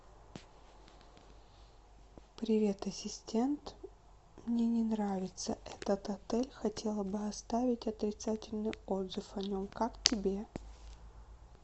привет ассистент мне не нравится этот отель хотела бы оставить отрицательный отзыв о нем как тебе